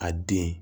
A den